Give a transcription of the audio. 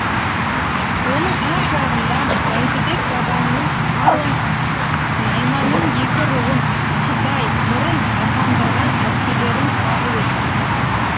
оның ар жағында бәйдібек бабаңның қалың найманның екі руын қызай мұрын атандырған әпкелерің тағы өткен